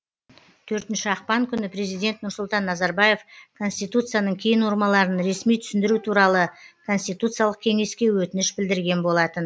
төртінші ақпан күні президент нұрсұлтан назарбаев конституцияның кей нормаларын ресми түсіндіру туралы конституциялық кеңеске өтініш білдірген болатын